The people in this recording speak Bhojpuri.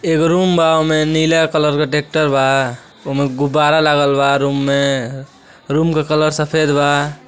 एगो रूम बा। ओमे नीला कलर क टेक्टर बा। ओमे गुब्बारा लगल बा रूम में। रूम क कलर सफेद बा।